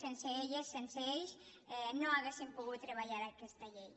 sense elles sense ells no hauríem pogut treballar aquesta llei